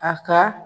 A ka